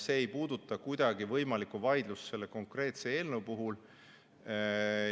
See ei puuduta kuidagi võimalikku vaidlust selle konkreetse eelnõu üle.